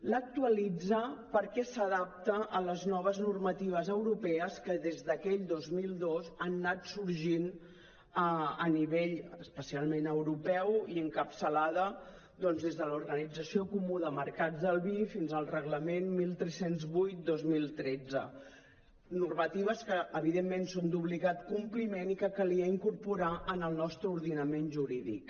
l’actualitza perquè s’adapta a les noves normatives europees que des d’aquell dos mil dos han anat sorgint a nivell especialment europeu i encapçalada doncs des de l’organització comú del mercat del vi fins al reglament tretze zero vuit dos mil tretze normatives que evidentment són d’obligat compliment i que calia incorporar en el nostre ordenament jurídic